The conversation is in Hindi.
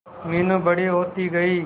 मीनू बड़ी होती गई